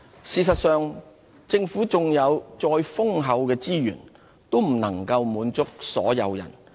事實上，政府縱有再豐厚的資源，也不能滿足所有人。